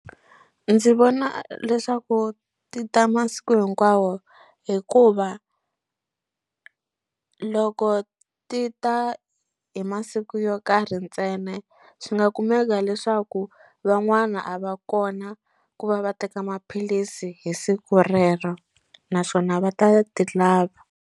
Ndzi vona leswaku ti ta masiku hinkwawo hikuva loko ti ta hi masiku yo karhi ntsena swi nga kumeka leswaku van'wana a va kona ku va va teka maphilisi hi siku rero naswona va ta ti lava.